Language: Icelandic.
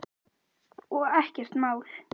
Hjörtur Hjartarson: Og ekkert mál?